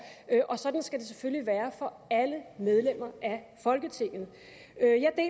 og sådan skal det selvfølgelig også være for alle medlemmer af folketinget